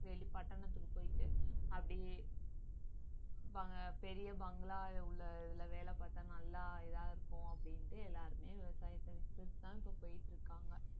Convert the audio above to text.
வெளி பட்டணத்துக்கு போயிட்டு அப்பிடியே வா~ பெரிய பங்களா உள்ள இதுல வேலை பார்த்தா நல்லா இதா இருக்கும் அப்படின்ட்டு எல்லாருமே விவசாயத்தை வித்துட்டு தான் இப்ப போயிட்டு இருக்காங்க